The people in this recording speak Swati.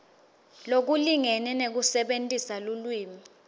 lokulingene nekusebentisa lulwimi